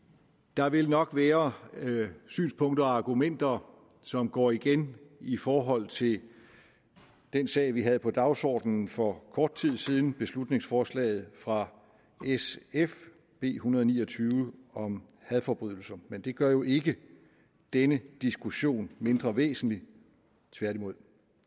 der vil nok være synspunkter og argumenter som går igen i forhold til den sag vi havde på dagsordenen for kort tid siden beslutningsforslaget fra sf b en hundrede og ni og tyve om hadforbrydelser men det gør jo ikke denne diskussion mindre væsentlig tværtimod